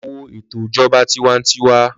Lọ wo ètò ìjọba tiwańtiwa.